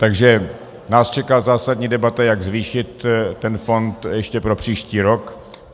Takže nás čeká zásadní debata, jak zvýšit ten fond ještě pro příští rok.